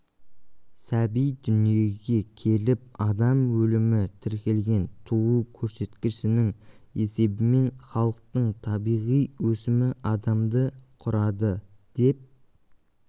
сәби дүниеге келіп адам өлімі тіркелген туу көрсетікішінің есебінен халықтың табиғи өсімі адамды құрады деп